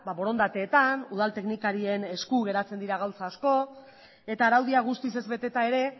borondateetan udal teknikarien esku geratzen dira gauza asko eta araudia guztiz ez beteta ere